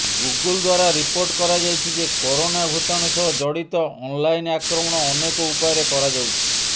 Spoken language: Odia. ଗୁଗୁଲ ଦ୍ୱାରା ରିପୋର୍ଟ କରାଯାଇଛି ଯେ କରୋନା ଭୁତାଣୁ ସହ ଜଡ଼ିତ ଅନଲାଇନ୍ ଆକ୍ରମଣ ଅନେକ ଉପାୟରେ କରାଯାଉଛି